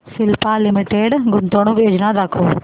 Cipla limited गुंतवणूक योजना दाखव